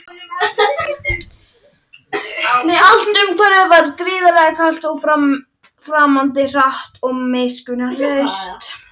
Allt umhverfið var gríðarlega kalt og framandi, hart og miskunnarlaust.